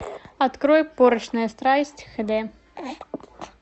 открой порочная страсть хд